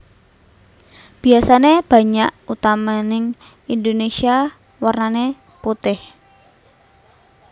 Biasané banyak utamaning Indonésia warnané putih